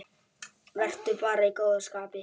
Vertu bara í góðu skapi.